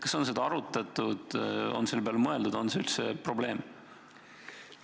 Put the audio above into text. Kas on seda arutatud, on selle peale mõeldud, on see üldse probleem?